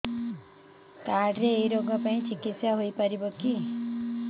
card ରେ ଏଇ ରୋଗ ପାଇଁ ଚିକିତ୍ସା ହେଇପାରିବ କି